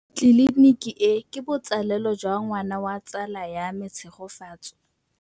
Tleliniki e, ke botsalêlô jwa ngwana wa tsala ya me Tshegofatso.